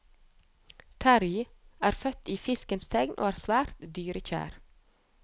Terrie er født i fiskens tegn og er svært dyrekjær.